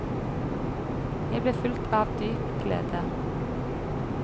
Jeg ble fylt av dyp glede.